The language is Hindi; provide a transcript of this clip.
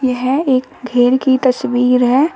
यह एक घेर की तस्वीर है।